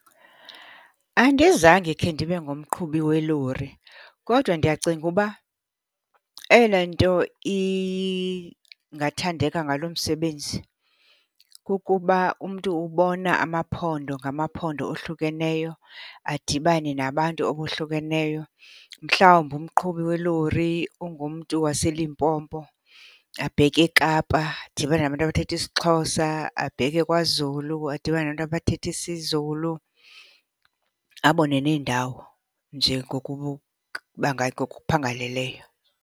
Andizange khe ndibe ngumqhubi welori kodwa ndiyacinga uba eyona nto ingathandeka ngalo msebenzi kukuba umntu ubona amaphondo ngamaphondo ohlukeneyo, adibane nabantu abohlukeneyo. Mhlawumbi umqhubi welori ungumntu waseLimpopo abheke eKapa, adibane nabantu abathetha isiXhosa, abheke kwaZulu adibane nabantu abathetha isiZulu. Abone neendawo nje ngokuphangaleleyo.